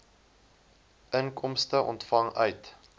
inkomste ontvang uit